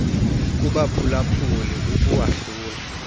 kubaphula phuli ukuwahlula